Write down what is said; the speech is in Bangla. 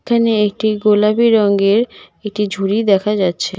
এখানে একটি গোলাপী রঙ্গের একটি ঝুড়ি দেখা যাচ্ছে।